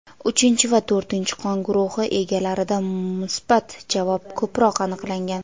uchinchi va to‘rtinchi qon guruhi egalarida musbat javob ko‘proq aniqlangan.